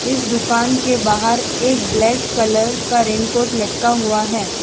इस दुकान के बाहर एक ब्लैक कलर का रेनकोट लटका हुआ है।